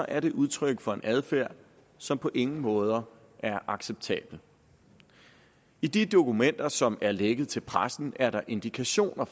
er det udtryk for en adfærd som på ingen måder er acceptabel i de dokumenter som er lækket til pressen er der indikationer